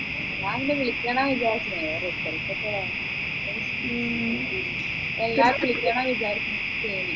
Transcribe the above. ഞാൻ പിന്നെ വിളിക്കണ വിചാരിച്ചിന് പിന്നെ result ഒക്കെ വരട്ടെ എല്ലാരേം വിളിക്കണമെന്ന് വിചാരിക്കും